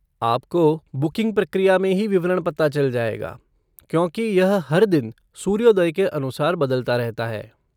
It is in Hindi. आपको बुकिंग प्रक्रिया में ही विवरण पता चल पाएगा, क्योंकि यह हर दिन सूर्योदय के अनुसार बदलता रहता है।